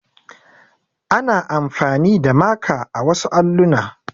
Ana amfani da maka a wasu alluna.